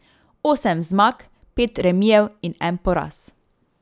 Osem zmag, pet remijev in en poraz.